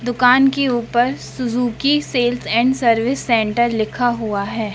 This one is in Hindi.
दुकान के ऊपर Suzuki sales and service centre लिखा हुआ हैं।